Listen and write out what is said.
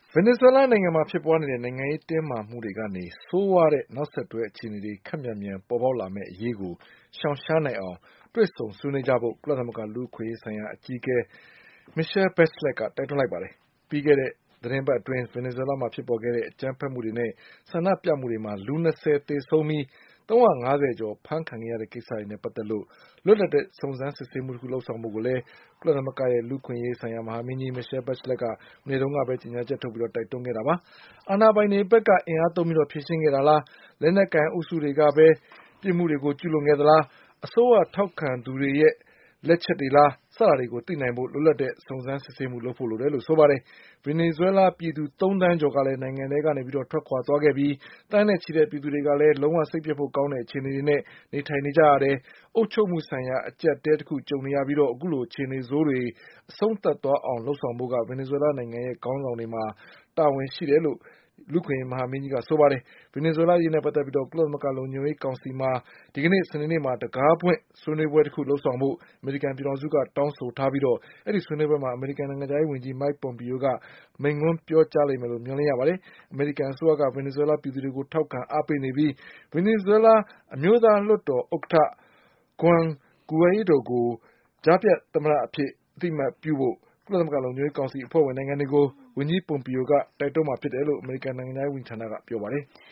ဗင်နီဇွဲလားနိုင်ငံမှာဖြစ်ပွါးနေတဲ့နိုင်ငံရေးတင်းမာမှုတွေကနေ ဆိုးဝါးတဲ့နောက်ဆက်တွဲ အခြေအနေတွေ ခပ်မြန်မြန် ပေါ်ပေါက်လာမယ့်အရေးကို ရှောင်ရှားနိုင်အောင် တွေ့ဆုံ ဆွေးနွေးကြဖို့ ကုလသမဂ္ဂ လူ့အခွင့် အရေးဆိုင်ရာအကြီးအကဲ Michelle Bachelet ကတိုက်တွန်းလိုက်ပါတယ်။ ပြီးခဲ့တဲ့ သီတင်းပတ်အတွင်း ဗင်နီဇွဲလားမှာဖြစ်ပေါ်ခဲ့တဲ့ အကြမ်းဖက်မှုတွေနဲ့ ဆန္ဒပြ မှုတွေမှာ လူ ၂၀ သေဆုံးပြီး ၃၅၀ ကျော် အဖမ်းခံခဲ့ရတဲ့ ကိစ္စနဲ့ပတ်သက်လို့ လွတ်လပ်တဲ့ စုံစမ်းစစ်ဆေးမှုတခု လုပ်ဆောင်ဖို့ကိုလည်း ကုလသမဂ္ဂရဲ့လူ့အခွင့်အရေးဆိုင်ရာ မဟာမင်းကြီး Michelle Bachelet မနေ့ကပဲကြေညာချက် ထုတ်ပြီး တိုက်တွန်းခဲ့တာပါ။ အာဏာပိုင်တွေဘက်က အင်အားသုံးပြီးဖြေရှင်းခဲ့သလား၊ လက်နက်ကိုင်အုပ်စုတွေကပဲ ပြစ်မှုတွေကိုကျူးလွန်ခဲ့သလား၊ အစိုးရထောက်ခံသူတွေရဲ့လက်ချက်လား စတာတွေကို သိနိုင်ဖို့ လွတ်လပ်တဲ့ စုံစမ်းစစ် ဆေးမှုလုပ်ဖို့လိုတယ်လို့ဆိုပါတယ်။ ဗင်နီဇွဲလားပြည်သူသုံးသန်းကျော်ကလည်း နိုင်ငံထဲကနေထွက်ခွါသွားခဲ့ပြီ။ သန်းနဲ့ ချီတဲ့ ပြည်သူတွေကလည်း လုံးဝစိတ်ပျက်ဖို့ကောင်းတဲ့အခြေအနေတွေနဲ့ နေထိုင်နေကြရတယ်၊ အုပ်ချုပ်မှုဆိုင်ရာ အကျပ် အတည်းတခု ကြုံနေရပြီး အခုလိုအခြေအနေဆိုးတွေကို အဆုံးသတ်အောင်လုပ်ဆောင်ဖို့က နိုင်ငံ့ခေါင်းဆောင်တွေရဲ့ တာဝန်ပဲ လို့လည်း လူ့အခွင့်အရေးမဟာမင်းကြီးက ဆိုပါတယ်။ ဗင်နီဇွဲလားအရေးနဲ့ပတ်သက်ပြီးကုလသမဂ္ဂလုံခြုံရေးကောင်စီမှာ ဒီကနေ့ စနေနေ့မှာ တံခါးဖွင့်ဆွေးနွေးပွဲတခု လုပ်ဆောင်ဖို့ အမေရိကန်ပြည်ထောင်စုက တောင်းဆိုထားပြီး အဲဒီဆွေးနွေးပွဲမှာ အမေရိကန်နိုင်ငံခြားရေး ဝန်ကြီး မိုက်ပွန်ပီယိုက မိန့်ခွန်းပြောလိမ့်မယ် လို့ မျှော်လင့်ရပါတယ်။ အမေရိကန် အစိုးရက ဗင်နီဇွဲလား ပြည်သူတွေကို ထောက်ခံ အားပေးနေပြီး ဗင်နီဇွဲလား အမျိုးသားလွှတ်တော်ဥက္ကဋ္ဌ Juan Guaidoကို ကြားဖြတ် သမ္မတအဖြစ် အသိအမှတ်ပြုဖို့ ကုလသမဂ္ဂလုံခြုံရေးကောင်စီအဖွဲ့ဝင်နိုင်ငံတွေကို ဝန်ကြီးပွန်ပီယိုက တိုက်တွန်း မှာဖြစ်တယ်လို့ အမေရိကန်နိုင်ငံခြားရေးဝန်ကြီးဌာနက ပြောပါတယ်။